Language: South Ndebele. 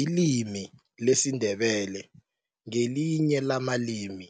Ilimi lesiNdebele ngelinye lamalimi